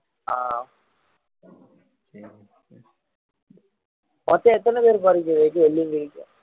மொத்தம் எத்தனை பேரு போறீங்க விவேக் வெள்ளியங்கிரிக்கு